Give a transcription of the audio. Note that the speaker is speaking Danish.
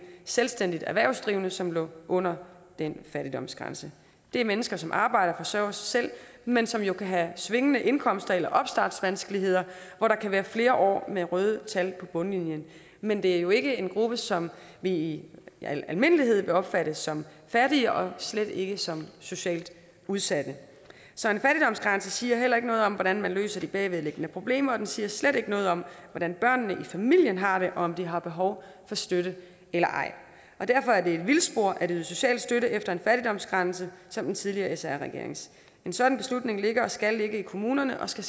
selvstændigt erhvervsdrivende som lå under den fattigdomsgrænse det er mennesker som arbejder og forsørger sig selv men som jo kan have svingende indkomster eller opstartsvanskeligheder hvor der kan være flere år med røde tal på bundlinjen men det er jo ikke en gruppe som vi i al almindelighed vil opfatte som fattig og slet ikke som socialt udsat så en fattigdomsgrænse siger heller ikke noget om hvordan man løser de bagvedliggende problemer og den siger slet ikke noget om hvordan børnene i familien har det og om de har behov for støtte eller ej derfor er det et vildspor at yde social støtte efter en fattigdomsgrænse som den tidligere sr regerings en sådan beslutning ligger og skal ligge i kommunerne og skal